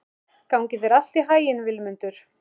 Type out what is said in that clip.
Gangi þér allt í haginn, Vilmundur.